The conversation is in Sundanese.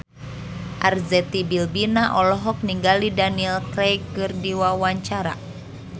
Arzetti Bilbina olohok ningali Daniel Craig keur diwawancara